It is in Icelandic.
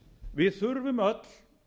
við þurfum öll